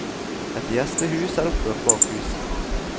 Et gjestehus er oppført bak huset.